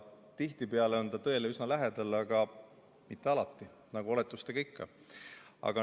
Tihtipeale on ta tõele üsna lähedal, aga mitte alati, nagu oletustega ikka.